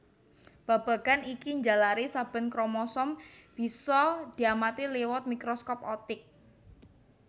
Babagan iki njalari saben kromosom bisa diamati liwat mikroskop optik